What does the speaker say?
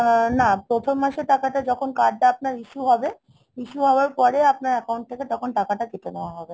আহ না, প্রথম মাসের টাকাটা যখন card টা আপনার issue হবে, issue হওয়ার পরে আপনার account থেকে তখন টাকাটা কেটে নেওয়া হবে।